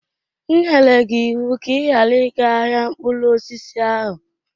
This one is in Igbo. M nyere gị ịwụ ka ị ghara ịga ahịa mkpụrụ osisi ahụ!